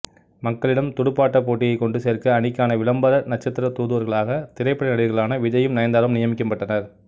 மக்களிடம் துடுப்பாட்டப் போட்டியை கொண்டு சேர்க்க அணிக்கான விளம்பர நட்சத்திர தூதுவர்களாக திரைப்பட நடிகர்களான விஜய்யும் நயன்தாராவும் நியமிக்கப்பட்டனர்